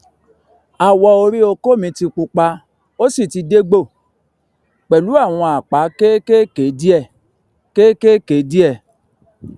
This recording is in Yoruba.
awọ orí okó mi ti pupa ó sì ti dégbò pẹlú àwọn àpá kéékèèké díẹ kéékèèké díẹ